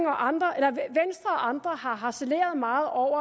og andre andre har harceleret meget over